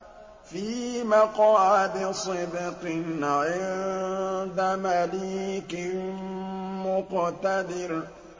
فِي مَقْعَدِ صِدْقٍ عِندَ مَلِيكٍ مُّقْتَدِرٍ